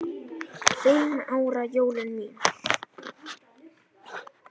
Fimm ára jólin mín.